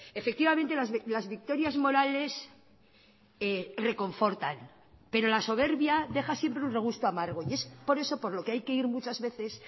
efectivamente las victorias morales reconfortan pero la soberbia deja siempre un regusto amargo y es por eso por lo que hay que ir muchas veces